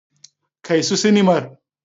Kai su sinimar.